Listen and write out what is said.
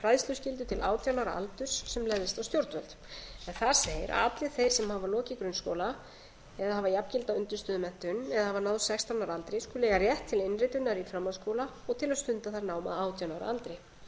fræðsluskyldu til átján ára aldurs sem legðist á stjórnvöld þar segir að allir þeir sem hafa lokið grunnskóla eða hafa jafngilda undirstöðumenntun eða hafa náð sextán ára aldri skuli eiga rétt til innritunar í framhaldsskóla og til að stunda þar nám að átján ára aldri